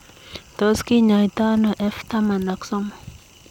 Tos kinyaitoo anoo F taman ak somok